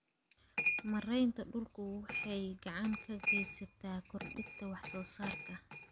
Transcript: Maareynta dhulku waxay gacan ka geysataa kordhinta wax soo saarka.